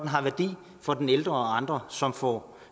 har værdi for den ældre og andre som får